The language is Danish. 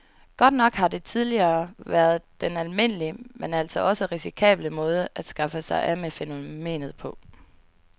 Godt nok har det tidligere været den almindelige, men altså også risikable måde at skaffe sig af med fænomenet på.